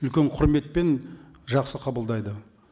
үлкен құрметпен жақсы қабылдайды